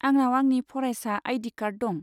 आंनाव आंनि फरायसा आइ.डि. कार्ड दं।